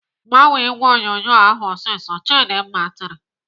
"Gbanye ìgwè onyonyo ahụ ọsịsọ!" Chidimma tiri.